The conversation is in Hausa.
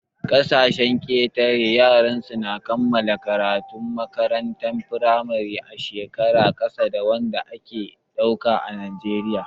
A ƙasashen ƙetare, yara su na kammala karatu a makarantar firamare a shekaru ƙasa da wanda ake ɗauka a najeriya